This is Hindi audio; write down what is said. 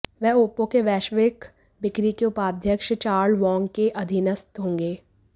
वह ओप्पो के वैश्विक बिक्री के उपाध्यक्ष चार्ल्स वॉंग के अधीनस्थ होंगे